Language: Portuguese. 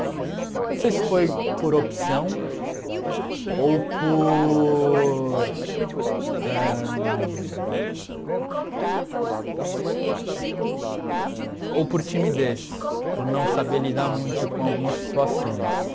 Não sei se foi por opção ou por ãh ou por timidez, por não saber lidar muito com algumas situações.